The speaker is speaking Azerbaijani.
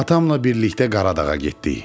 Atamla birlikdə Qaradağa getdik.